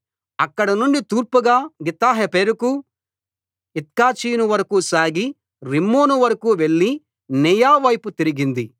అక్కడ నుండి తూర్పుగా గిత్తహెపెరుకు ఇత్కాచీను వరకూ సాగి రిమ్మోను వరకూ వెళ్లి నేయా వైపు తిరిగింది